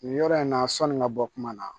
Nin yɔrɔ in na sɔni ka bɔ kuma na